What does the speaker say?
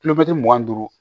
mugan ni duuru